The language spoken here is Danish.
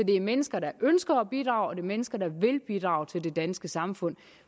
det er mennesker der ønsker at bidrage mennesker der vil bidrage til det danske samfund